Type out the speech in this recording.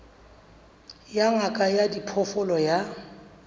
ya ngaka ya diphoofolo ya